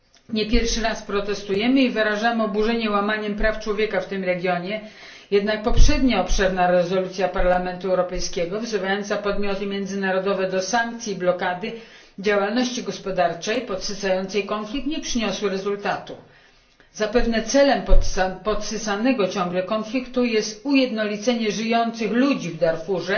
Nie pierwszy raz protestujemy i wyrażamy oburzenie łamaniem praw człowieka w tym regionie, jednak poprzednia obszerna rezolucja Parlamentu Europejskiego, wzywająca podmioty międzynarodowe do sankcji i blokady działalności gospodarczej podsycającej konflikt, nie przyniosła rezultatu. Zapewne celem podsycanego ciągle konfliktu jest ujednolicenie ludności w Darfurze